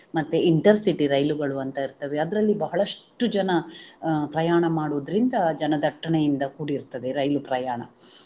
ಮತ್ತೇ intercity ರೈಲುಗಳು ಅಂತ ಇರ್ತವೆ, ಅದರಲ್ಲಿ ಬಹಳಷ್ಟು ಜನ ಪ್ರಯಾಣ ಮಾಡುವುದರಿಂದ ಜನದಟ್ಟನೆಯಿಂದ ಕೂಡಿರುತ್ತದೆ ರೈಲು ಪ್ರಯಾಣ.